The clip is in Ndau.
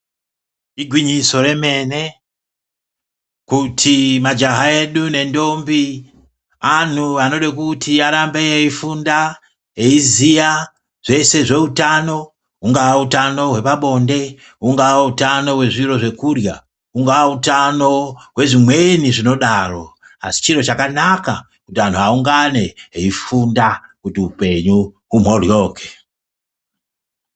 Igwinyiso remene kuti majaha edu nendombi anhu anode kuti arambe eifunda eiziya zvese zveutano hungaa utano hwepabonde hungaa hutano hwezviro zvekurya hungaa utano hwezvimweni zvinodaro asi chiro chakanaka kuti anhu aungane eifunda kuti upenyu humhoryoke.